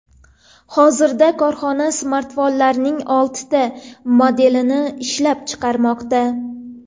Hozirda korxona smartfonlarning oltita modelini ishlab chiqarmoqda.